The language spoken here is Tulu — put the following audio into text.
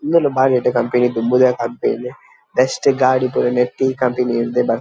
ಇಂದುಲ ಬಾರಿ ಎಡ್ಡೆ ಕಂಪೆನಿ ದುಂಬುದ ಕಂಪೆನಿ ಬೆಸ್ಟ್ ಗಾಡಿ ಪುರ ನೆಟ್ ಈ ಕಂಪೆನಿಡ್ದ್ ಬರ್ಪು---